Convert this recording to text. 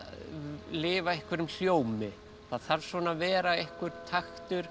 lifa einhverjum hljómi það þarf svona að vera einhver taktur